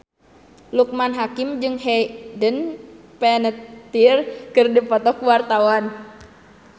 Loekman Hakim jeung Hayden Panettiere keur dipoto ku wartawan